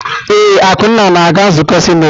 Ee, Akunna na-aga nzukọ sinetị.